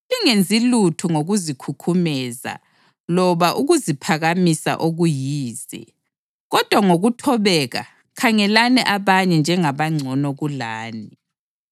Lingenzi lutho ngokuzikhukhumeza loba ukuziphakamisa okuyize. Kodwa ngokuthobeka khangelani abanye njengabangcono kulani